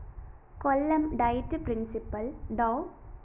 Kollam DIET principal‍ Dr